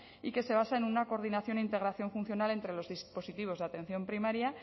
y que se basa en una coordinación integración funcional entre los dispositivos de atención primaria